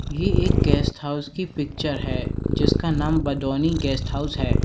ये एक guest house की पिक्चर है जिसका नाम बडोनी गेस्ट हाउस है।